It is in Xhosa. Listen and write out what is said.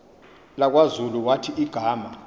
lakwazulu wathi igama